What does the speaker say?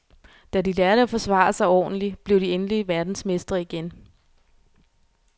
Da de lærte at forsvare sig ordentlig, blev de endelig verdensmestre igen.